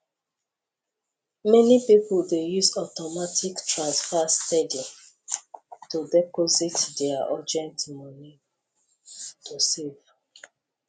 plenty people dey use automatic transfer steady to dey boost their urgent money to save